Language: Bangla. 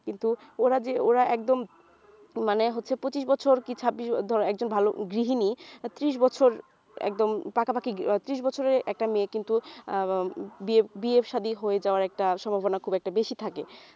কিন্তু ওরা যে ওরা একদম মানে হচ্ছে পঁচিশ বছর কি ছাব্বিশ ~ একজন ভালো গৃহিণী ত্রিশ বছর একদম পাকাপাকি ত্রিশ বছরের একটা মেয়ে কিন্তু আহ বিয়ে শাদি হয়ে যাওয়ার একটা সম্ভাবনা খুব একটা বেশি থাকে